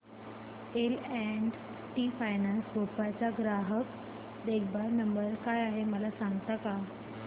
L and T finance Bhopal चा ग्राहक देखभाल नंबर काय आहे मला सांगता का